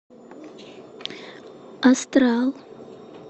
астрал